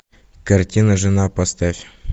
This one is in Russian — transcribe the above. картина жена поставь